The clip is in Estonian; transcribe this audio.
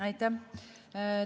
Aitäh!